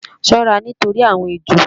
Ṣọ́ra nítorí àwọn ejò!